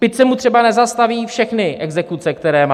Teď se mu třeba nezastaví všechny exekuce, které má.